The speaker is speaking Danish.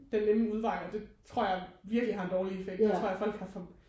Den nemme udvej og det tror jeg virkelig har en dårlig effekt der tror jeg folk har for